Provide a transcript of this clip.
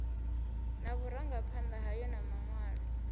na vhurangaphanda hayo na manwalo